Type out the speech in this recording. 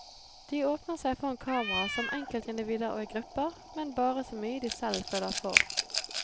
De åpner seg foran kamera som enkeltindivider og i grupper, men bare så mye de selv føler for.